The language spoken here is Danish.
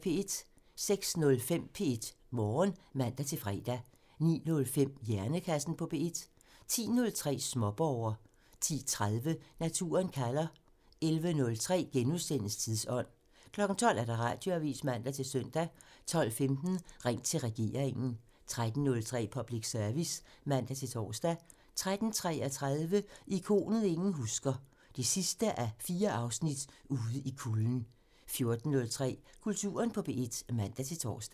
06:05: P1 Morgen (man-fre) 09:05: Hjernekassen på P1 (man) 10:03: Småborger (man) 10:30: Naturen kalder (man) 11:03: Tidsånd *(man) 12:00: Radioavisen (man-søn) 12:15: Ring til regeringen (man) 13:03: Public Service (man-tor) 13:33: Ikonet ingen husker – 4:4 Ude i kulden 14:03: Kulturen på P1 (man-tor)